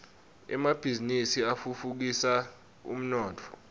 emabhiznnisi atfutfukisa umnotfo